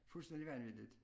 Fuldstændig vanvittigt